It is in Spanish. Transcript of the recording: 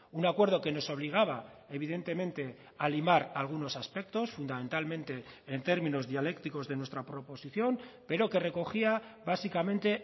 un acuerdo que nos obligaba evidentemente a limar algunos aspectos fundamentalmente en términos dialécticos de nuestra proposición pero que recogía básicamente